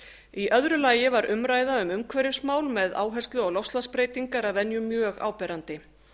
í öðru lagi var umræða um umhverfismál með áherslu á loftslagsbreytingar að venju mjög áberandi